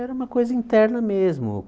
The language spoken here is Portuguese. Era uma coisa interna mesmo.